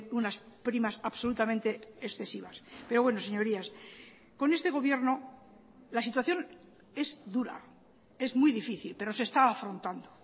unas primas absolutamente excesivas pero bueno señorías con este gobierno la situación es dura es muy difícil pero se está afrontando